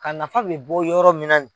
A nafa bɛ bɔ yɔrɔ min na nin ye